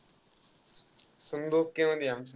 समद okay मध्ये आमचं.